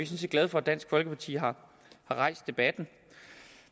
set glade for at dansk folkeparti har rejst debatten